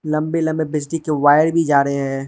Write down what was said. लंबे लंबे बिजली के वायर भी जा रहे हैं।